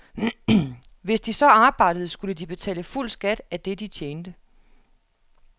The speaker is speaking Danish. Hvis de så arbejdede, skulle de betale fuld skat af det de tjente.